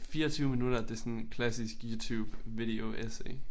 24 minutter det sådan klassisk Youtube video essay